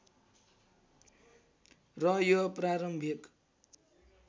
र यो प्रारम्भिक